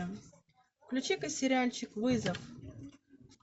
включи ка сериальчик вызов